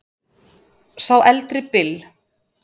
Sá eldri Bill.